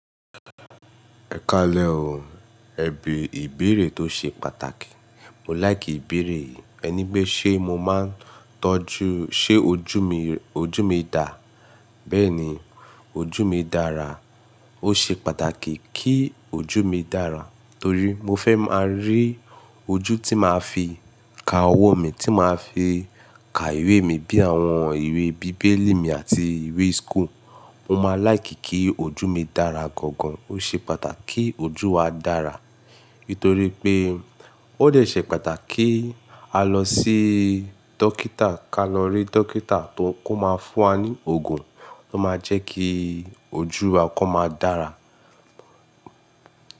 Ẹ ka lẹ o. Ẹbí ìbéèrè tó ṣe pàtàkì. Mo láìkì ìbéèrè yìí. Ẹ ní pé ṣé mo máa ń tọ́jú-- ṣé ojú mi, ojú mi dà? Bẹ́ẹ̀ni, ojú mi dára. Ó ṣe pàtàkì kí ojú mi dára torí mo fẹ́ máa rí ojú tí màá fi ka ọwọ́ mi, tí màá fi ka ìwé mi bí i àwọn ìwé bíbélì mi àti ìwé school. Mo máa láìkì kí ojú mi dára gan gan. Ó ṣe pàtàkì kí ojú wa dára nítorí pé ó de ṣẹ̀ pàtàkì kí a lọ sí dókítà, ká lọ rí dókítà tó kọ́ máa fún wa ní òògùn tó máa jẹ́ kí ojú wa kó máa dára.